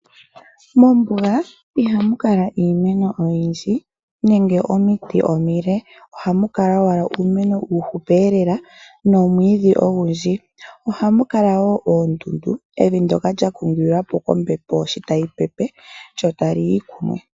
Mombuga iha mu kala iimeno oyindji nenge omiti omile, ihe oha mu kala owala uumeno uuhupi lela nomwiidhi. Oha mu kala woo oondundu ,evi ndoka lyashitilwapo nenge lya gongelwapo kombepo.